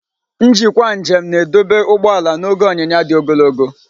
Njikwa njem na-edobe ụgbọ ala n'oge onyiya di ogologo.